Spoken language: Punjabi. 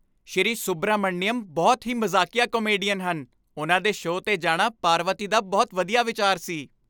ਸ਼੍ਰੀ ਸੁਬਰਾਮਣੀਅਮ ਬਹੁਤ ਹੀ ਮਜ਼ਾਕੀਆ ਕਾਮੇਡੀਅਨ ਹਨ। ਉਨ੍ਹਾਂ ਦੇ ਸ਼ੋਅ 'ਤੇ ਜਾਣਾ ਪਾਰਵਤੀ ਦਾ ਬਹੁਤ ਵਧੀਆ ਵਿਚਾਰ ਸੀ।